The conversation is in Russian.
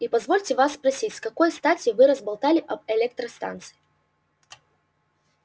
и позвольте вас просить с какой стати вы разболтали об электростанции